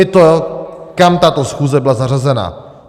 I to, kam tato schůze byla zařazena.